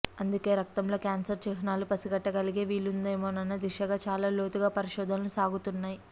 అందుకే రక్తంలో క్యాన్సర్ చిహ్నాలు పసిగట్టగలిగే వీలుందేమోనన్న దిశగా చాలా లోతుగా పరిశోధనలు సాగుతున్నాయి